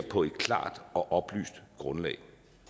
på et klart og oplyst grundlag